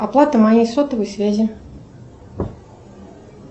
оплата моей сотовой связи